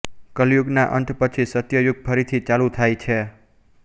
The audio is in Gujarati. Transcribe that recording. કલિયુગના અંત પછી સત્યયુગ ફરીથી ચાલુ થાય છે